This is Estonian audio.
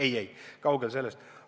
Ei-ei, kaugel sellest!